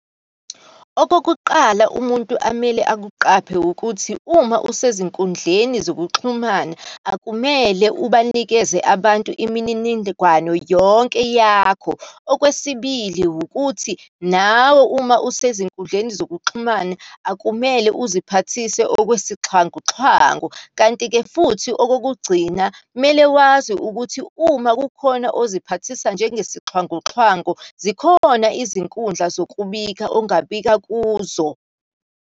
Okokuqala umuntu amele akuqaphe, wukuthi uma usezinkundleni zokuxhumana akumele ubanikeze abantu imininingwano yonke yakho. Okwesibili, wukuthi nawe, uma usezinkundleni zokuxhumana akumele uziphathise okwesixhwanguxhwangu. Kanti-ke futhi okokugcina, kumele wazi ukuthi uma kukhona oziphathisa njengesixhwanguxhwangu, zikhona izinkundla zokubika ongabika kuzo.